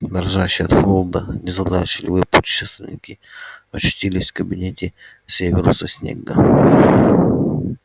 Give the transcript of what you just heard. дрожащие от холода незадачливые путешественники очутились в кабинете северуса снегга